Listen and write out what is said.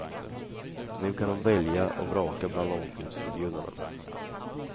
Nu kan hon välja och vraka bland långfilmserbjudanden.